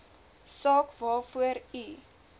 saak waarvoor u